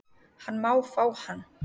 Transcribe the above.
Hann má fá hann